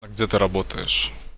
а где ты работаешь